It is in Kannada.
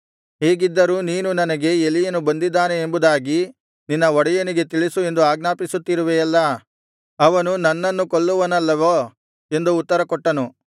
ಹೀಗಿದ್ದರೂ ನೀನು ನನಗೆ ಎಲೀಯನು ಬಂದಿದ್ದಾನೆ ಎಂಬುದಾಗಿ ನಿನ್ನ ಒಡೆಯನಿಗೆ ತಿಳಿಸು ಎಂದು ಆಜ್ಞಾಪಿಸುತ್ತಿರುವೆಯಲ್ಲಾ ಅವನು ನನ್ನನ್ನು ಕೊಲ್ಲುವನಲ್ಲವೋ ಎಂದು ಉತ್ತರಕೊಟ್ಟನು